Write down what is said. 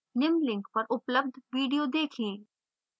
निम्न link पर उपलब्ध video देखें